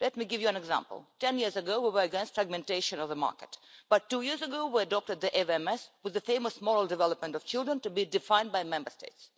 Let me give you an example. Ten years ago, we were against the fragmentation of the market, but, two years ago, we adopted the AVMS with the famous moral development of children to be defined by Member States.